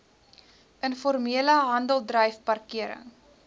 informele handeldryf parkering